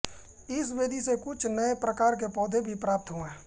इस विधि से कुछ नए प्रकार के पौधे भी प्राप्त हुए